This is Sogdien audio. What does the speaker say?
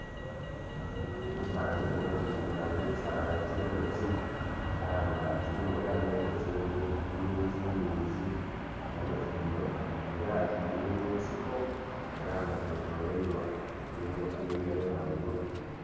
Ekifanhanhi kino kiri kukulaga ekisasala eky'endhuki era nga kirimu era n'endhuki nnhingi nhingi, endhuki dhinho nga era dhiri munsiko era nga kyetolwairwa ebimuli ebyendaghulo.